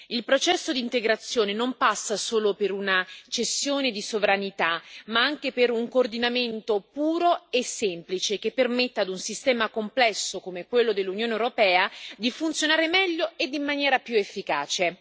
Il processo di integrazione non passa solo per una cessione di sovranità, ma anche per un coordinamento puro e semplice, che permetta ad un sistema complesso come quello dell'Unione europea, di funzionare meglio e in maniera più efficace.